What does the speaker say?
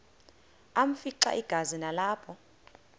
afimxa igazi nalapho